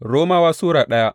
Romawa Sura daya